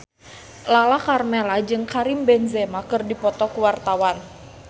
Lala Karmela jeung Karim Benzema keur dipoto ku wartawan